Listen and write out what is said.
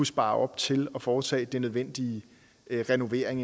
spare op til at foretage den nødvendige renovering